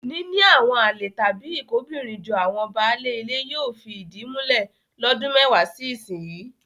Níní àwọn àlè tàbí ìkóbìnrinjọ àwọn baálé ilé yóò sì fìdí múlẹ̀ lọ́dún mẹ́wàá sí ìsinyìí.